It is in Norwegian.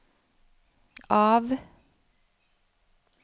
av